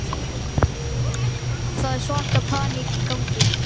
Það er svaka paník í gangi.